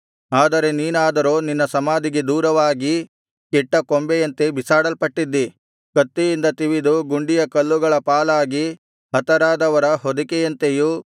ಆದರೆ ನೀನಾದರೋ ನಿನ್ನ ಸಮಾಧಿಗೆ ದೂರವಾಗಿ ಕೆಟ್ಟ ಕೊಂಬೆಯಂತೆ ಬಿಸಾಡಲ್ಪಟ್ಟಿದ್ದೀ ಕತ್ತಿಯಿಂದ ತಿವಿದು ಗುಂಡಿಯ ಕಲ್ಲುಗಳ ಪಾಲಾಗಿ ಹತರಾದವರ ಹೊದಿಕೆಯಂತೆಯೂ